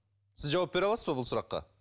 сіз жауап бере аласыз ба бұл сұраққа